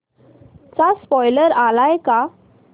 चा स्पोईलर आलाय का